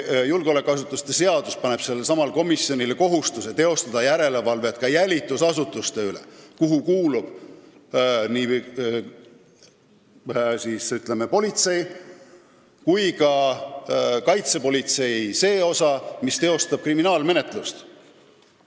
Aga julgeolekuasutuste seadus paneb sellelesamale komisjonile kohustuse teostada järelevalvet ka jälitusasutuste üle ehk nende inimeste üle politseis ja kaitsepolitseis, kes viivad ellu kriminaalmenetlust.